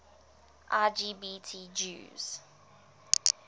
lgbt jews